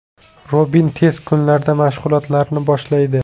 Robin tez kunlarda mashg‘ulotlarni boshlaydi.